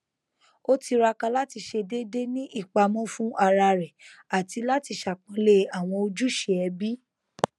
ó tiraka láti ṣe déédéé ní ìpamọ fún ara rẹ àti láti ṣàpọnlé àwọn ojúṣe ẹbí